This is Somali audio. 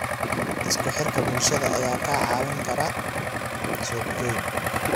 Isku xirka bulshada ayaa kaa caawin kara suuqgeyn.